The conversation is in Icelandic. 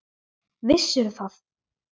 Vissirðu það?